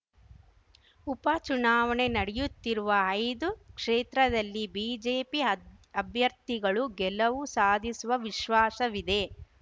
ಉಪಚುನಾವಣೆ ನಡೆಯುತ್ತಿರುವ ಐದು ಕ್ಷೇತ್ರದಲ್ಲಿ ಬಿಜೆಪಿ ಅಬ್ ಅಭ್ಯರ್ಥಿಗಳು ಗೆಲವು ಸಾಧಿಸುವ ವಿಶ್ವಾಸವಿದೆ